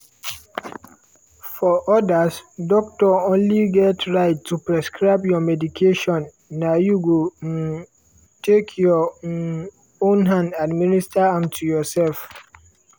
for odas doctor only get right to prescribe you di medication na you go um take your um own hand administer am to yourself.